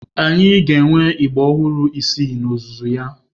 Anyị ga-enwe ịgbà ọhụrụ isii n'ozuzu ya.